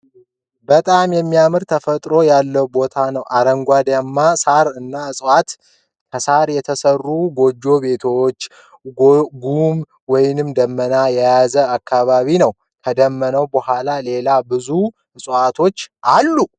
በጣም የሚያምር ተፈጥሮ ያለው ቦታ ነው ። አርንጋዳማ ሳር እና ዕፅዋት ፤ ከሳር የተሰሩ ጎጆ ቤቶች ጉም ወይም ደመና የያዘ አካባቢ ነው ። ከዳመና በኋላ ሌላ ብዙ ዕፅዋት አለ ።